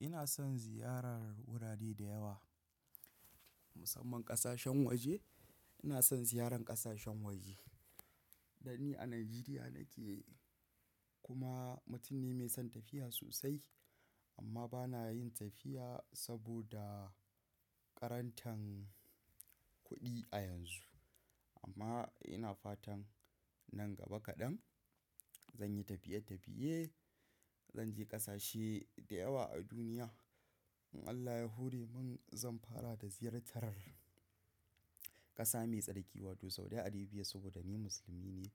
Ina son ziyarar wurare da yawa, musamman ƙasashen waje. Ina son ziyaran ƙasashen waje. Da ni a Najeriya nake, kuma mutum ne mai son tafiya sosai amma ba na yin tafiya saboda ƙarantan kuɗi a yanzu. Amma ina fatan nan gaba kaɗan zan yi tafiye-tafiye, zan je ƙasashe da yawa a duniya. In Allah ya hore mun zan fara da ziyartar ƙasa mai tsarki wato Saudi Arebiya saboda ni musulmi ne.